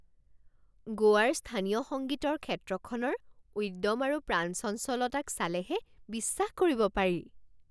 গোৱাৰ স্থানীয় সংগীতৰ ক্ষেত্ৰখনৰ উদ্যম আৰু প্ৰাণচঞ্চলতাক চালেহে বিশ্বাস কৰিব পাৰি।